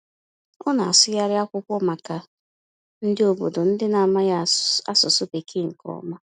Ọ na-asụgharị akwụkwọ maka ndị obodo nke na-amaghị asụsụ Bekee nke ọma.